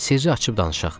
Sirri açıb danışaq.